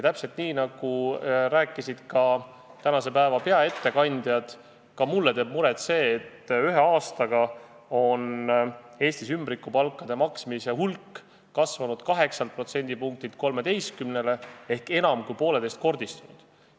Täpselt nii, nagu rääkisid tänased peaettekandjad, teeb ka mulle muret see, et ühe aastaga on Eestis ümbrikupalkade maksmise osakaal kasvanud 8%-lt 13%-le ehk enam kui poolteisekordistunud.